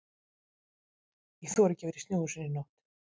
Ég þori ekki að vera í snjóhúsinu í nótt.